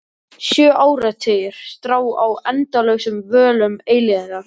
Þegjandi opnaði Maggi þau og dró upp sinn hvorn seðilinn.